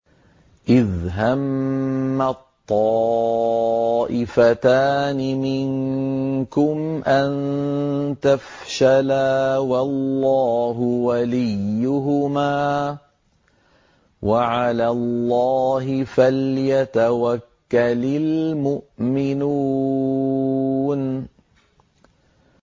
إِذْ هَمَّت طَّائِفَتَانِ مِنكُمْ أَن تَفْشَلَا وَاللَّهُ وَلِيُّهُمَا ۗ وَعَلَى اللَّهِ فَلْيَتَوَكَّلِ الْمُؤْمِنُونَ